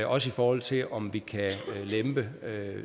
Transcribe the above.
også i forhold til om vi kan lempe